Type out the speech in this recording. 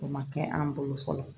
O ma kɛ an bolo fɔlɔ